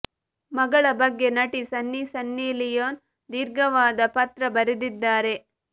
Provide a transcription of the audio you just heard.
ಮಗಳ ಬಗ್ಗೆ ನಟಿ ಸನ್ನಿ ಸನ್ನಿ ಲಿಯೋನ್ ದೀರ್ಘವಾದ ಪತ್ರ ಬರೆದಿದ್ದಾರೆ